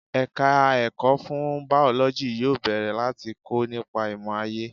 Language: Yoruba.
Ẹ̀ka ẹ̀kọ́ fún Bàọ́lọ́jì yóò bẹ̀rẹ̀ láti kọ́ nípa ìmò aayé.